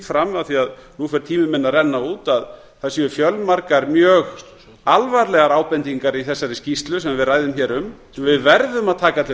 fram af því nú fer tími minn að renna út að það séu fjölmargar mjög alvarlegar ábendingar í þessari skýrslu sem við ræðum hér um við verðum að taka til